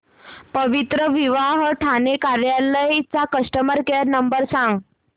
पवित्रविवाह ठाणे कार्यालय चा customer care number सांग